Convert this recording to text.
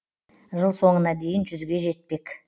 жыл соңына дейін жүзге жетпек